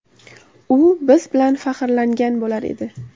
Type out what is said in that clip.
U biz bilan faxrlangan bo‘lar edi.